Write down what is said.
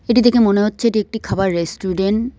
এটি দেখে মনে হচ্ছে এটি একটি খাবার রেস্টুরেন